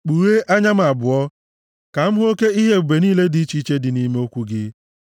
Kpughee anya m abụọ ka m hụ oke ihe ebube niile dị iche iche dị nʼime okwu gị.